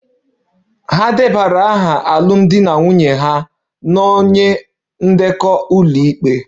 Ha debara aha alụmdi na nwunye ha na onye ndekọ ụlọikpe